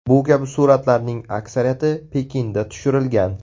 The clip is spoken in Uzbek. Bu kabi suratlarning aksariyati Pekinda tushirilgan.